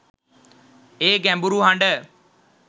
ඒ ගැඹුරු හඬ